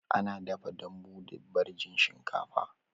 Ana dafa dambu da ɓarjin shinkafa